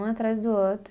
Um atrás do outro.